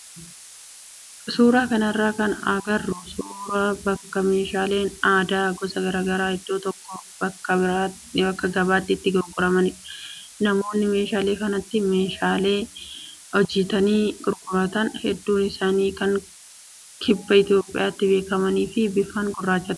Suuraa kanarraa kan agarru suuraa bakka meeshaaleen aadaa gosa garaagaaraa iddoo tokko bakka gabaatti itti gurguramanidha. Namoonni meeshaalee kanatti meeshaalee hojjatanii gurguratan hedduun isaanii kan kibba Itoophiyaatti beekamanii fi bifaan gurraachota.